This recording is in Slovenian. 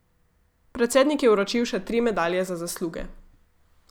Predsednik je vročil še tri medalje za zasluge.